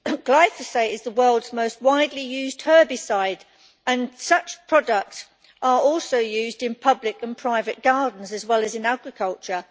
Glyphosate is the world's most widely used herbicide, and such products are also used in public and private gardens, as well as in agriculture.